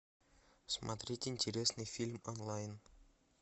смотреть интересный фильм онлайн